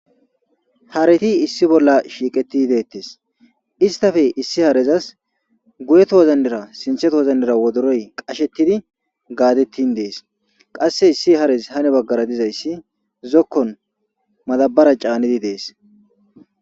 hareti issi bolla shiiqetii deettes istafe issi harezas guyeto wozannira sintheto wozannira wodoroy qashettidi gaadettin dees qasse issi harez hane baggara dizayssi zokkon madabara caanidi dees